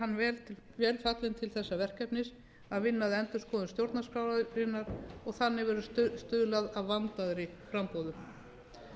hann vel fallinn til þess verkefnis að vinna að endurskoðun stjórnarskrárinnar og þannig verður stuðlað að vandaðri framboðum